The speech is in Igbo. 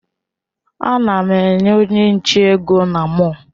Ana m enye onye nche ego na mọll.